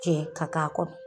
Cɛ i ka k'a kɔrɔ.